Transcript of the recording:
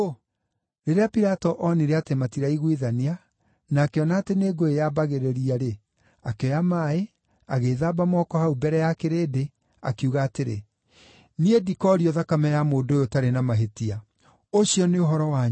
Rĩrĩa Pilato oonire atĩ matiraiguithania, na akĩona atĩ nĩ ngũĩ yambagĩrĩria-rĩ, akĩoya maaĩ, agĩĩthamba moko hau mbere ya kĩrĩndĩ, akiuga atĩrĩ, “Niĩ ndikoorio thakame ya mũndũ ũyũ ũtarĩ na mahĩtia. Ũcio nĩ ũhoro wanyu!”